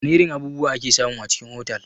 Wana irin abubuwa ake samu a cikin otal?